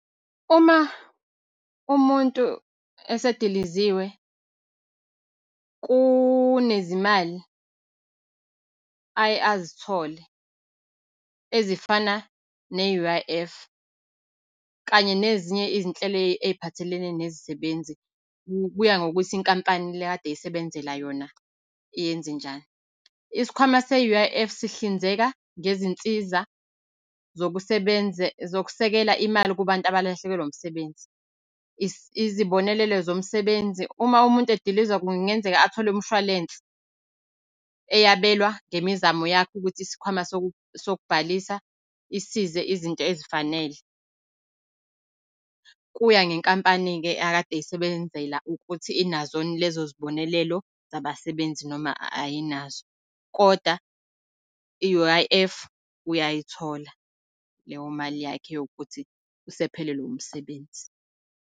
Uma umuntu esediliziwe kunezimali aye azithole ezifana ne-U_I_F, kanye nezinye izinhlelo ey'phathelene nezisebenzi kuya ngokuthi inkampani le ekade eyisebenzela yona yenzenjani. Isikhwama se-U_I_F sihlinzeka ngezinsiza zokusekela imali kunabantu abalahlekelwa umsebenzi. Izibonelelo zomsebenzi uma umuntu edilizwa kungenzeka athole umshwalense, eyabelwa ngemizamo yakhe ukuthi isikhwama sokubhalisa isize izinto ezifanele. Kuya ngenkampani-ke akade eyisebenzela ukuthi inazo yini lezo zibonelelo zabasebenzi noma ayinazo. Kodwa i-U_I_F uyayithola, leyo mali yakhe yokuthi usephelelwe umsebenzi.